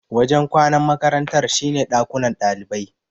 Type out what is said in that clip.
Wajen kwanan makarantar shine dakunan ɗalibai.